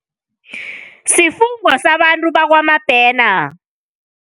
Sifungwa sabantu bakwaMabhena.